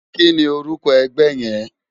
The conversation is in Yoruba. Kìní órùkò ègbè yèn?